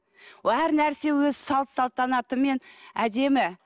әр нәрсе өз салт салтанатымен әдемі